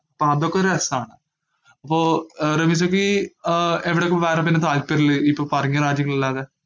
അപ്പോ അതൊക്കെ ഒരു രസാണ്. അപ്പോ റമീസയ്ക്ക് ആഹ് എവിടെയൊക്കെ വേറെ പിന്നെ താല്പര്യള്ളേ ഇപ്പോ പറഞ്ഞ രാജ്യങ്ങളല്ലാതെ?